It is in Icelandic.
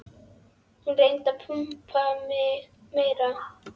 Hún reyndi að pumpa mig meira.